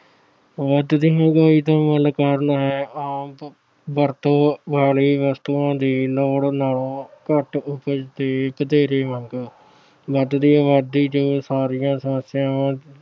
ਵਧਦੀ ਮਹਿੰਗਾਈ ਦਾ ਮੁੱਖ ਕਾਰਨ ਹੈ ਆਮ ਵਰਤੋਂ ਵਾਲੀ ਵਸਤੂਆਂ ਦੀ ਲੋੜ ਨਾਲੋਂ ਘੱਟ ਉਪਜ ਤੇ ਵਧੇਰੇ ਮੰਗ। ਵਧਦੀ ਆਬਾਦੀ ਜੋ ਸਾਰੀਆਂ ਸਮੱਸਿਆਵਾਂ ਦੀ